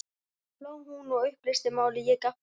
Þá hló hún og upplýsti málið, ég gapti.